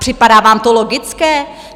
Připadá vám to logické?